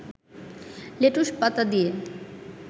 লেটুসপাতা দিয়ে